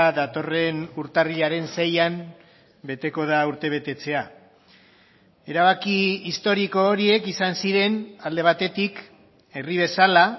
datorren urtarrilaren seian beteko da urtebetetzea erabaki historiko horiek izan ziren alde batetik herri bezala